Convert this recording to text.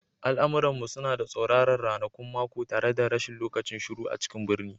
Al'amuran mu suna da tsauraran ranakun mako tare da rashin lokacin shiru a cikin birni